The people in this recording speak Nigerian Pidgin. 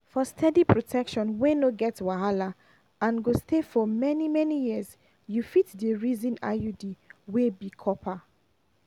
for steady protection wey no get wahala and go stay for many-many years you fit dey reason iud wey be copper.